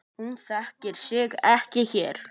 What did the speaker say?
Hún þekkir sig ekki hér.